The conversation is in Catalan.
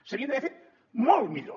s’havien d’haver fet molt millor